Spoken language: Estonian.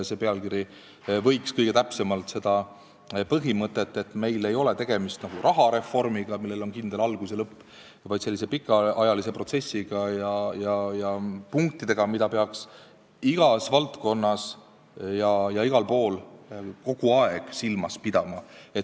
See pealkiri võiks täpsemalt väljendada seda põhimõtet, et meil ei ole tegemist näiteks sellise asjaga nagu rahareform, millel on kindel algus ja lõpp, vaid pikaajalise protsessiga ja punktidega, mida peaks igas valdkonnas ja igal pool kogu aeg silmas pidama.